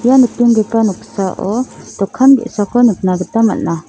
ia nikenggipa noksao dokan ge·sako nikna gita man·a.